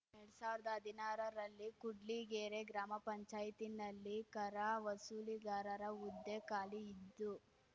ಎರಡ್ ಸಾವಿರ್ದಾ ಹದಿನಾರರಲ್ಲಿ ಕೂಡ್ಲಿಗೆರೆ ಗ್ರಾಮ ಪಂಚಾಯತಿನಲ್ಲಿ ಕರ ವಸೂಲಿಗಾರರ ಹುದ್ದೆ ಖಾಲಿ ಇದ್ದು